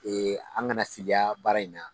Ee an kana siliya baara in na